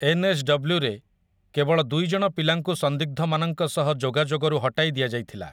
ଏନ୍ଏସ୍‌ଡବ୍ଲୁରେ କେବଳ ଦୁଇ ଜଣ ପିଲାଙ୍କୁ ସନ୍ଦିଗ୍ଧମାନଙ୍କ ସହ ଯୋଗାଯୋଗରୁ ହଟାଇ ଦିଆଯାଇଥିଲା ।